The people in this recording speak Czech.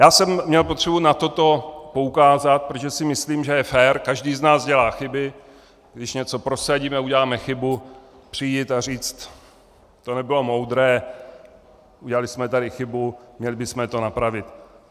Já jsem měl potřebu na toto poukázat, protože si myslím, že je fér - každý z nás dělá chyby - když něco prosadíme, uděláme chybu, přijít a říct: to nebylo moudré, udělali jsme tady chybu, měli bychom to napravit.